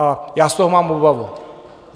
A já z toho mám obavu.